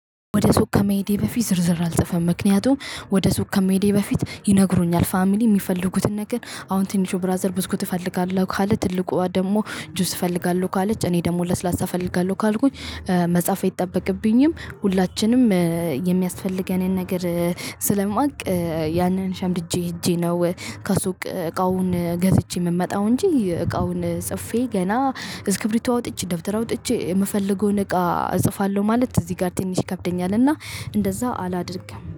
ወደ ሱቅ ከመሄዴ በፊት ዝርዝር አልጽፍም ምክንያቱም ወደ ሱቅ ከመሄዴ በፊት ይነግሩኛል ፋሚሊ እሚፈልጉትን ነገር አሁን ትንሹ ብራዘር ብስኩት እፈልጋለሁ ካለ ትልቋ ደግሞ ጁስ እፈልጋለሁ ካለች እኔ ደግሞ ለስላሳ እፈልጋለሁ ካልኩኝ። መጻፍ አይጠበቅብኝም ሁላችንም የሚያስፈልገንን ነገር ስለማውቅ ያንን ሸምድጄ ሄጄ ነው። ከሱ እቃውን ገዝቼ የምመጣው እንጂ እቃውን ጽፌ ገና እስክሪብቶ አውጥቼ ደብተር አውጥቼ የምፈልገውን እቃ እጽፋለሁ ማለት እዚህ ጋር ትንሽ ይከብደኛል። እና እንደዛ አላደርግም